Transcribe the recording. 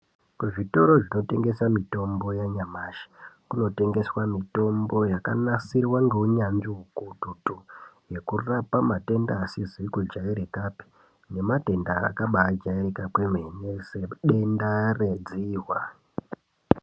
Kuzvitoro zvinotengesa mitombo yanyamushi kunotengeswa mitombo yakanasirwa ngeunyanzvi ukukutu nekurapa matenda asizi kujairikapi nematenda akabajairika kwemene sedenda redzihwa.